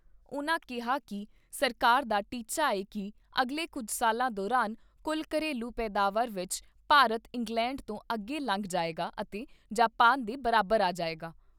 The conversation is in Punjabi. ਉਨ੍ਹਾਂ ਕਿਹਾ ਕਿ ਸਰਕਾਰ ਦਾ ਟੀਚਾ ਏ ਕਿ ਅਗਲੇ ਕੁੱਝ ਸਾਲਾਂ ਦੌਰਾਨ ਕੁੱਝ ਘਰੇਲੂ ਪੈਦਾਵਾਰ ਵਿਚ ਭਾਰਤ ਇੰਗਲੈਂਡ ਤੋਂ ਅੱਗੇ ਲੰਘ ਜਾਏਗਾ ਅਤੇ ਜਾਪਾਨ ਦੇ ਬਰਾਬਰ ਆ ਜਾਏਗਾ।